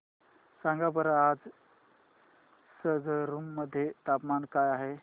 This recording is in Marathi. सांगा बरं आज संगरुर मध्ये तापमान काय आहे